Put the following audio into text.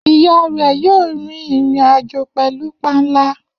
Iya rẹ yoo rin irin-ajo pẹlu panla.